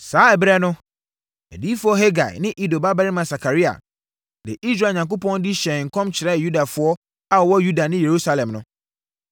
Saa ɛberɛ no, adiyifoɔ Hagai ne Ido babarima Sakaria de Israel Onyankopɔn din hyɛɛ nkɔm kyerɛɛ Yudafoɔ a wɔwɔ Yuda ne Yerusalem no.